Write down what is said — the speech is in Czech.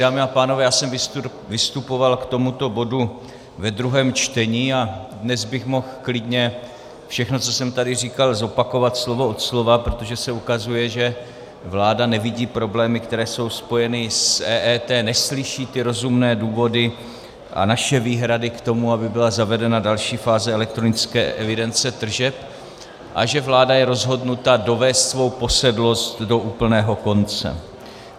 Dámy a pánové, já jsem vystupoval k tomuto bodu ve druhém čtení a dnes bych mohl klidně všechno, co jsem tady říkal, zopakovat slovo od slova, protože se ukazuje, že vláda nevidí problémy, které jsou spojeny s EET, neslyší ty rozumné důvody a naše výhrady k tomu, aby byla zavedena další fáze elektronické evidence tržeb, a že vláda je rozhodnuta dovést svou posedlost do úplného konce.